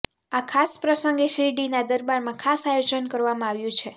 આ ખાસ પ્રસંગે શિરડીના દરબારમાં ખાસ આયોજન કરવામાં આવ્યું છે